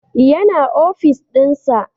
Ya na ofis dinsa